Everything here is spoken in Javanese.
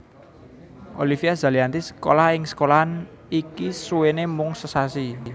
Olivia Zalianty sekolah ing sekolahan iki suwené mung sesasi